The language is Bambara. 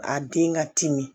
A den ka timi